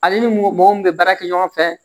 Ale ni mɔgɔ min bɛ baara kɛ ɲɔgɔn fɛ